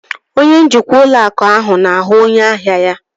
Onye njikwa ụlọ akụ ahụ na-ahụ onye ahia ya